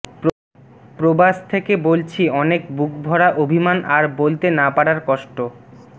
প্রবাস থেকে বলছি অনেক বুক ভরা অভিমান আর বলতে না পারার কষ্ট